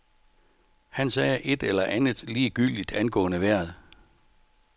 Han sagde et eller andet ligegyldigt angående vejret.